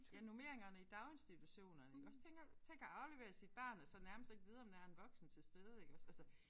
Ja normeringerne i daginstitutionerne iggås tænk at tænk at aflevere sit barn og så nærmest ikke vide om der en voksen tilstede iggås altså